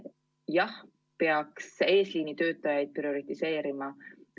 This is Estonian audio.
Jah, peaks eesliinitöötajaid prioritiseerima.